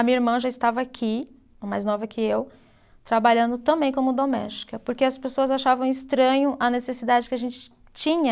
A minha irmã já estava aqui, a mais nova que eu, trabalhando também como doméstica, porque as pessoas achavam estranho a necessidade que a gente tinha